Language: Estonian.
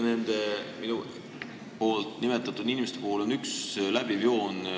Nende minu nimetatud inimeste puhul on oluline üks läbiv joon.